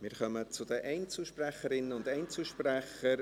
Wir kommen zu den Einzelsprecherinnen und Einzelsprechern.